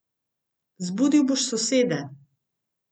Zbudil boš sosede.